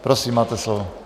Prosím, máte slovo.